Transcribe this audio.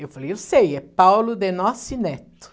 Eu falei, eu sei, é Paulo de Noce Neto.